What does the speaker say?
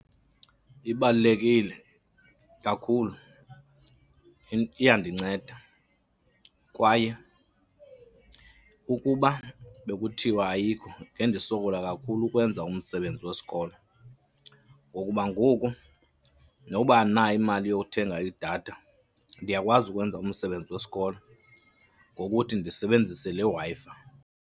Ibalulekile kakhulu. Iyandinceda kwaye ukuba bekuthiwa ayikho ngendisokola kakhulu ukwenza umsebenzi wesikolo. Ngokuba ngoku noba andinayo imali yokuthenga idatha ndiyakwazi ukwenza umsebenzi wesikolo ngokuthi ndisebenzise le Wi-Fi.